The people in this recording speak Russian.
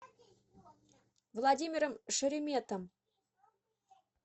владимиром шереметом